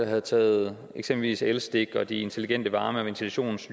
have taget eksempelvis elstik og de intelligente varme og ventilations